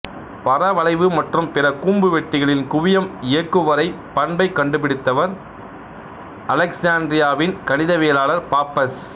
பரவளைவு மற்றும் பிற கூம்பு வெட்டிகளின் குவியம்இயக்குவரை பண்பைக் கண்டுபிடித்தவர் அலெக்சாண்டிரியாவின் கணிதவியலாளர் பாப்பஸ்